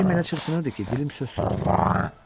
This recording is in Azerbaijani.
Ürəyim elə çırpınırdı ki, dilim söz tutmurdu.